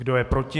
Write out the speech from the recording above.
Kdo je proti?